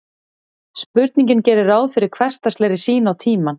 Spurningin gerir ráð fyrir hversdagslegri sýn á tímann.